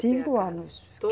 Cinco anos.